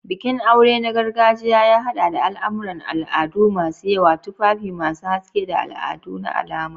Bikin aure na gargajiya ya haɗa da al'amuran al'adu masu yawa, tufafi masu haske, da al'adu na alama.